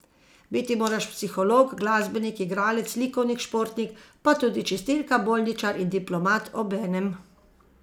Biti moraš psiholog, glasbenik, igralec, likovnik, športnik, pa tudi čistilka, bolničar in diplomat obenem.